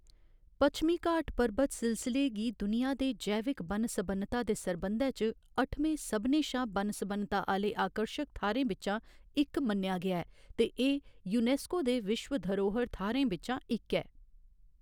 पच्छमी घाट पर्बत सिलसले गी दुनिया दे जैविक बन्न सबन्नता दे सरबंधै च अठमें सभनें शा बन्न सबन्नता आह्‌ले आकर्शक थाह्‌रें बिच्चा इक मन्नेआ गेआ ऐ ते एह्‌‌ यूनेस्को दे विश्व धरोह्‌र थाह्‌रें बिच्चा इक ऐ।